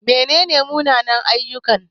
Mene ne munanan-ayyuka?